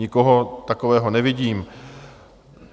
Nikoho takového nevidím.